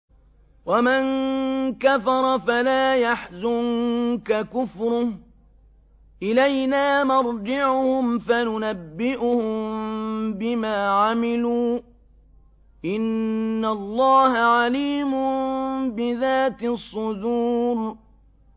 وَمَن كَفَرَ فَلَا يَحْزُنكَ كُفْرُهُ ۚ إِلَيْنَا مَرْجِعُهُمْ فَنُنَبِّئُهُم بِمَا عَمِلُوا ۚ إِنَّ اللَّهَ عَلِيمٌ بِذَاتِ الصُّدُورِ